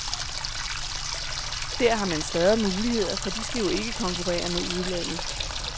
Der har man større muligheder, for de skal jo ikke konkurrere med udlandet.